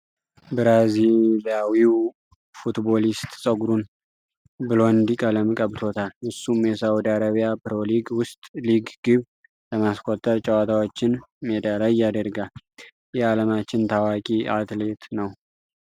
ብራዚላዊው ፉትቦሊስት ጸጉሩን ብሎንድ ቀለም ቀብቶታል። እሱም የሳዑዲ ዓረቢያ ፕሮ-ሊግ ውስጥ ሊግ ግብ ለማስቆጠር ጨዋታዎችን ሜዳ ላይ ያደርጋል። የዓለማችን ታዋቂ አትሌት ነው።